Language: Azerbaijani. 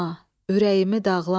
ürəyimi dağlama.